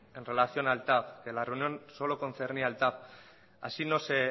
en relación al tav que la reunión solo concernía al tav así